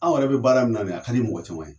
Aw yɛrɛ be baara min na bi , a ka di mɔgɔ caman ye.